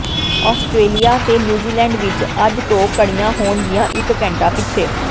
Australia ਤੇ New Zealand ਵਿੱਚ ਅੱਜ ਤੋਂ ਘੜੀਆਂ ਹੋਣਗੀਆਂ ਇੱਕ ਘੰਟਾ ਪਿੱਛੇ